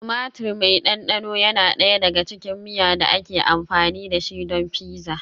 Tumatir mai ɗanɗano yana ɗaya daga cikin miya da ake amfani da shi don pizza.